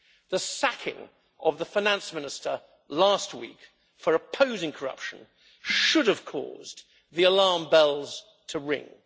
The sacking of the finance minister last week for opposing corruption should have caused the alarm bells to ring.